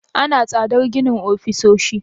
Ana tsadar ginin ofisoshi?